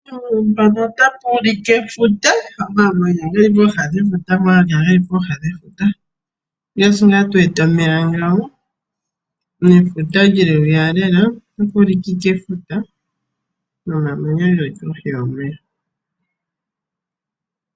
Efuta, omamanya geli pooha dhefuta. Ongaashi tu wete omeya ngaaka nefuta lyili hwiya lela. Omamanya ogeli kohi yomeya.